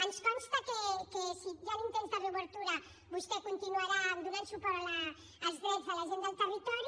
ens consta que si hi han intents de reobertura vostè continuarà donant suport als drets de la gent del territori